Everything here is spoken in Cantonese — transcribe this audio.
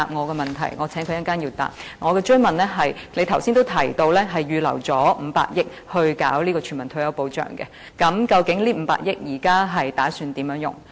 我的補充質詢是：局長剛才也提及預留了500億元來推行全民退休保障，究竟這500億元現時打算如何運用？